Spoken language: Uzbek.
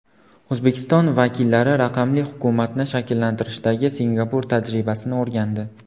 O‘zbekiston vakillari raqamli hukumatni shakllantirishdagi Singapur tajribasini o‘rgandi.